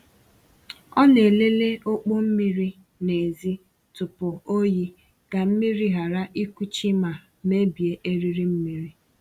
Ọ na-elele ọkpọ mmiri n’èzí tupu oyi ka mmiri ghara ịkuchi ma mebie eriri mmiri.